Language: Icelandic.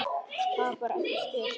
Tapar ekki styrk sínum.